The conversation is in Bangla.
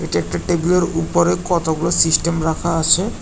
একটা টেবিলের উপরে কতগুলো সিস্টেম রাখা আছে।